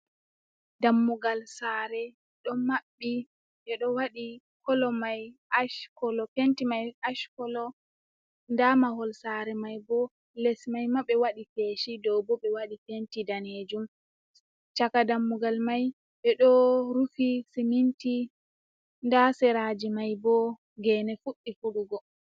Dammugal sare ɗo maɓɓi, ɓi ɗo waɗi kolo mai Asha kolo penti mai ash kolo, nda mahol sare mai bo les mai ma ɓewaɗi feshi, dow bo ɓe waɗi penti danejum, chaka dammugal mai ɓe ɗo rufi siminti, nda seraji mai bo gene fuɗɗi fuɗugo.